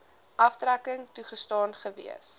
aftrekking toegestaan gewees